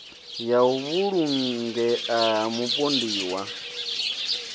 ya u vhulungea ha mupondiwa